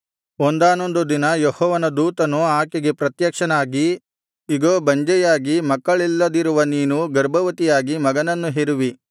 ಒಂದಾನೊಂದು ದಿನ ಯೆಹೋವನ ದೂತನು ಆಕೆಗೆ ಪ್ರತ್ಯಕ್ಷನಾಗಿ ಇಗೋ ಬಂಜೆಯಾಗಿ ಮಕ್ಕಳಿಲ್ಲದಿರುವ ನೀನು ಗರ್ಭವತಿಯಾಗಿ ಮಗನನ್ನು ಹೆರುವಿ